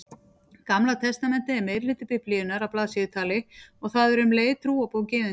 Gamla testamentið er meirihluti Biblíunnar að blaðsíðutali og það er um leið trúarbók Gyðinga.